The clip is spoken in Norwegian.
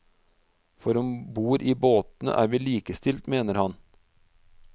For om bord i båtene er vi likestilt, mener han.